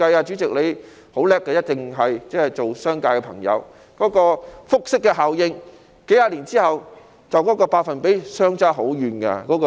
主席，你很厲害的，是商界人士，一定明白當中的複式效應，數十年後投資回報的百分比便會相差甚遠。